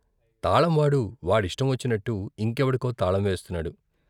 తాళంవాడు వాడిష్టం వచ్చినట్టు ఇంకెవడికో తాళం వేస్తున్నాడు.